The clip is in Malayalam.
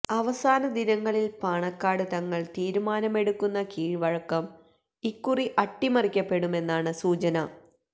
അവസാന ദിനങ്ങളില് പാണക്കാട് തങ്ങള് തീരുമാനമെടുക്കുന്ന കീഴ്വഴക്കം ഇക്കുറി അട്ടിമറിക്കപ്പെടുമെന്നാണ് സൂചന